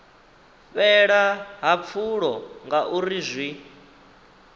fhela ha pfulo ngauri zwi